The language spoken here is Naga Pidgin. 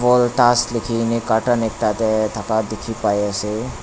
Voltas lekhekeneh carton ekta dae thaka dekhe pai ase.